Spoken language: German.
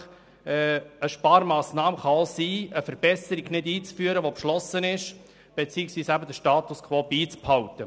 Eine Sparmassnahme kann auch bedeuten, eine beschlossene Verbesserung nicht einzuführen beziehungsweise den Status quo beizubehalten.